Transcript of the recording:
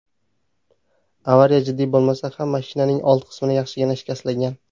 Avariya jiddiy bo‘lmasa ham, mashinaning old qismi yaxshigina shikastlangan.